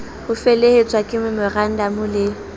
ho felehetswa ke memorandamo le